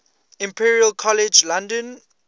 imperial college london